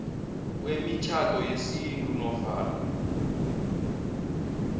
kwemitjhado yesintu nofana